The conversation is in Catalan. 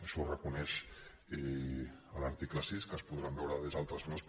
això ho reconeix l’article sis que es podran veure des d’altres zones